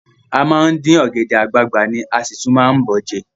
A máa ń dín ọ̀gẹ̀dẹ̀ àgbagbà ni, a sì tún máa ń bọ̀ ọ́ jẹ ni